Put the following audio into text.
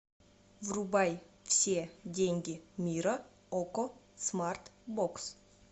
врубай все деньги мира окко смарт бокс